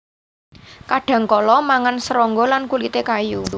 Kadhangkala mangan serangga lan kulité kayu